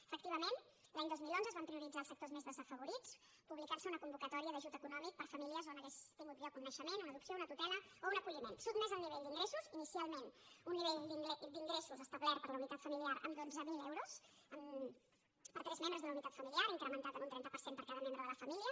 efectivament l’any dos mil onze es van prioritzar els sectors més desafavorits en publi·car·se una convocatòria d’ajut econòmic per a famílies on hagués tingut lloc un naixement una adopció una tutela o un acolliment sotmès al nivell d’ingressos inicialment un nivell d’ingressos establert per la uni·tat familiar amb dotze mil euros per tres membres de la unitat familiar incrementat en un trenta per cent per cada membre de la família